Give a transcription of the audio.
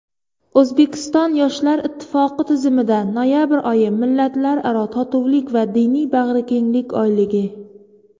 O‘zbekiston yoshlar ittifoqi tizimida noyabr oyi "Millatlararo totuvlik va diniy bag‘rikenglik oyligi".